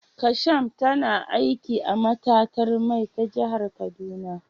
Kasham tana aiki a matatar mai ta jihar kaduna